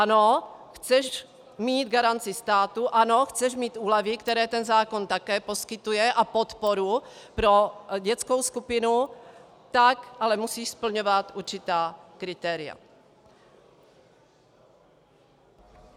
Ano, chceš mít garanci státu, ano, chceš mít úlevy, které ten zákon také poskytuje, a podporu pro dětskou skupinu, tak ale musíš splňovat určitá kritéria.